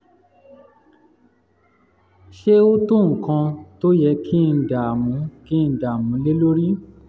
ṣé ó tó nǹkan tó yẹ kí ń dàmú kí ń dàmú lé lórí?